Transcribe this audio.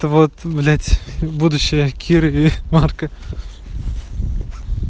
вот блять будущая кирове марка